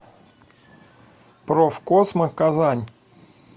профкосмо казань